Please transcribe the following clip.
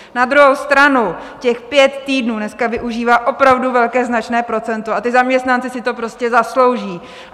Na druhou stranu, těch pět týdnů dneska využívá opravdu velké, značné procento a ti zaměstnanci si to prostě zaslouží.